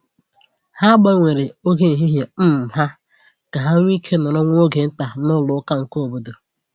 Ha gbanwere oge ehihie um ha ka ha nwee ike nọrọ nwa oge nta n’ụlọ ụka nke obodo.